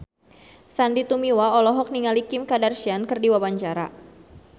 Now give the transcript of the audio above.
Sandy Tumiwa olohok ningali Kim Kardashian keur diwawancara